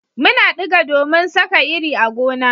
Muna diga domin Saka iri a gona